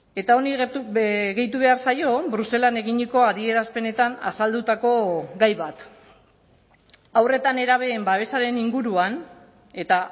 eta honi gehitu behar zaio bruselan eginiko adierazpenetan azaldutako gai bat haur eta nerabeen babesaren inguruan eta